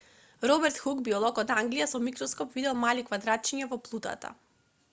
роберт хук биолог од англија со микроскоп видел мали квадратчиња во плутата